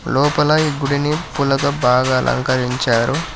లోపల ఈ గుడిని పూలతో బాగా అలంకరించారు.